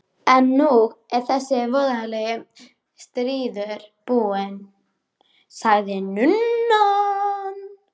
En nú er þessi voðalegi stríður búinn, sagði nunnan.